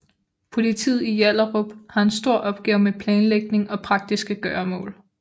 Politiet i Hjallerup har en stor opgave med planlægning og praktiske gøremål